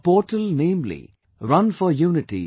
A portal namely runforunity